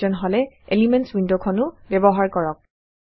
প্ৰয়োজন হলে elements window খনো ব্যৱহাৰ কৰক